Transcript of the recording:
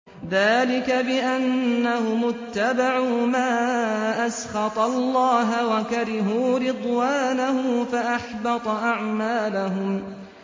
ذَٰلِكَ بِأَنَّهُمُ اتَّبَعُوا مَا أَسْخَطَ اللَّهَ وَكَرِهُوا رِضْوَانَهُ فَأَحْبَطَ أَعْمَالَهُمْ